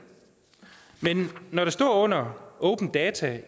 men når der står under open data